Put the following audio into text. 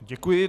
Děkuji.